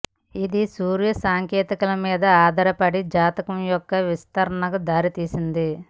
ఇది సూర్య సంకేతాల మీద ఆధారపడిన జాతకం యొక్క విస్తరణకు దారితీసింది